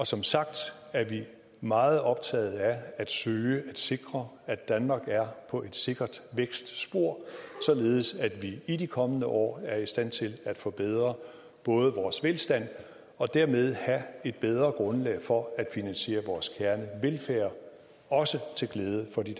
som sagt meget optaget af at søge at sikre at danmark er på et sikkert vækstspor således at vi i de kommende år er i stand til at forbedre vores velstand og dermed have et bedre grundlag for at finansiere vores kernevelfærd også til glæde for de